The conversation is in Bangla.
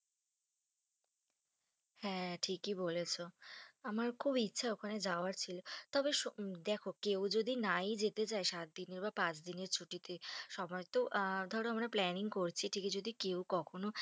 হ্যাঁ ঠিকই বলেছো আমার খুব ইচ্ছা যাওয়ার ছিল তবে দেখো কেউ যদি নাই যেতে চাই, সাত দিনের বা পাঁচ দিনের ছুটি তে সবাই তো, ধরো আমরা তো planning করছি ঠিকই যদি কেউ কখনো,